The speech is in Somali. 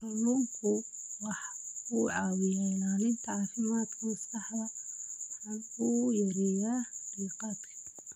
Kalluunku waxa uu caawiyaa ilaalinta caafimaadka maskaxda waxana uu yareeyaa diiqada.